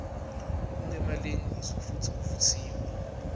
kungemalengiso futsi kuvutsiwe